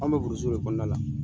An bɛ buruji de kɔnɔna la.